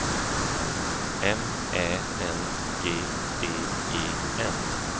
M Ä N G D E N